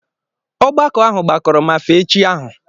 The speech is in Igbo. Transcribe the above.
ọgbakọ ahụ gbakọrọ ma fee chi ahụ